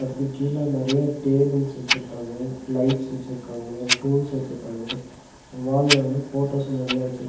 அதுக்கு கீழ நெறைய டேபுள்ஸ் வச்சுருக்காங்க லைட்ஸ் வச்சுருக்காங்க டூல்ஸ் வச்சுருக்காங்க வால்ல வந்து ஃபோட்டோஸ் நெறைய வச்சுருக்--